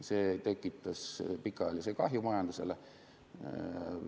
See tekitas pikaajalise kahju majandusele.